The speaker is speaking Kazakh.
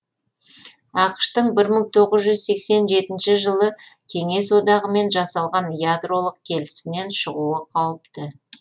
ақш тың бір мың тоғыз жүз сексен жетінші жылы кеңес одағымен жасалған ядролық келісімнен шығуы қауіпті